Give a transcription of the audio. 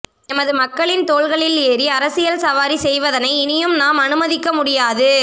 எமது மக்களின் தோள்களில் ஏறி அரசியல் சவாரி செய்வதனை இனியும் நாம் அனுமதிக்க முடியாது